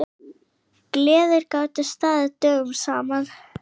Gleðir gátu staðið dögum saman.